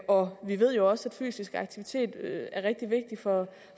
og vi ved jo også at fysisk aktivitet er rigtig vigtigt for